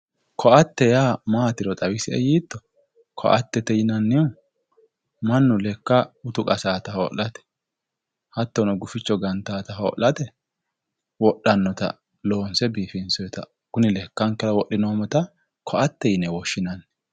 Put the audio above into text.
Ko"atte yaa maatiro xawisie yiitto ko"attete yinanniha mannu lekkansa utu qasaata hoo'late hattono gufichu ganaata hoo'late wodhannota loonse biifinsoyiita kune lekkankera wodhinoommota ko"attete yinanni